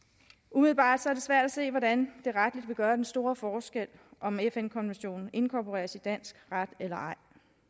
umiddelbart er det svært at se hvordan det retligt vil gøre den store forskel om fn konventionen inkorporeres i dansk ret eller ej